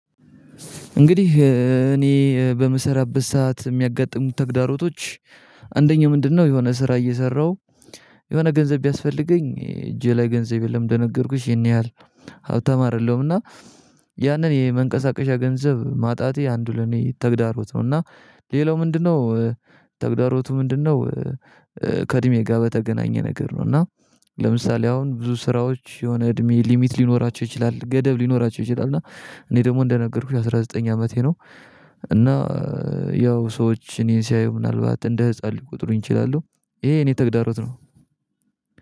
እንግዲህ እኔ በምሰራበት ሰዓት የሚያጋጥሙት ተግዳሮቶች አንደኛው ምንድነው የሆነ ስራ እየሰራሁ የሆነ ገንዘብ ቢያስፈልገኝ እጄ ላይ ገንዘብ የለም እንደነገርኩሽ ይሄን ያህል ሀብታም አይደለሁም እና ያንን የመንቀሳቀሻ ገንዘብ ማጣቴ አንዱ ለኔ ተግዳሮት ነው። እና ሌላው ምንድነው ተግዳሮቱ ምንድነው ከእድሜ ጋር በተገናኘ ነገር ነው እና ለምሳሌ አሁን ብዙ ስራዎች የሆነ እድሜ ሊሚት ሊኖራቸው ይችላል፣ ገደብ ሊኖራቸው ይችላል እና እኔ ደግሞ እንደነገርኩሽ አስራ ዘጠኝ አመቴ ነው እና ያው ሰዎች እኔን ሲያዩ ምናልባት እንደ ህፃን ሊቆጥሩኝ ይችላሉ። ይሄ የኔ ተግዳሮት ነው